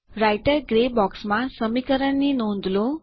writer grey બોક્સમાં સમીકરણની નોંધ લો